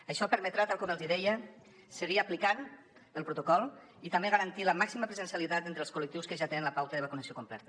això permetrà tal com els hi deia seguir aplicant el protocol i també garantir la màxima presencialitat entre els col·lectius que ja tenen la pauta de vacunació completa